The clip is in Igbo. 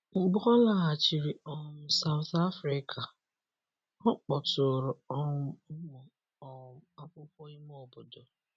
Mgbe ọ lọghachiri um South Afrika, ọ kpọtụụrụ um ụmụ um akwụkwo ime obodo.